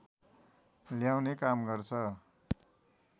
ल्याउने काम गर्छ